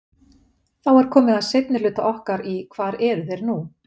Þá er komið að seinni hluta okkar í hvar eru þeir nú?